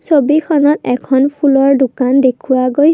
ছবিখনত এখন ফুলৰ দোকান দেখুওৱা গৈ--